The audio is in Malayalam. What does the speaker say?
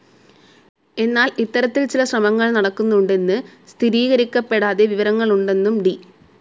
എന്നാൽ ഇത്തരത്തിൽ ചില ശ്രമങ്ങൾ നടക്കുന്നുണ്ടെന്ന് സ്ഥിരീകരിക്കപ്പെടാതെ വിവരങ്ങൾ ഉണ്ടെന്നും ഡി.